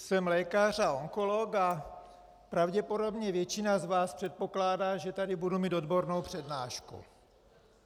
Jsem lékař a onkolog a pravděpodobně většina z vás předpokládá, že tady budu mít odbornou přednášku.